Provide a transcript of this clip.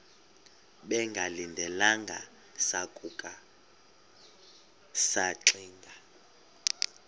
bengalindelanga sasuka saxinga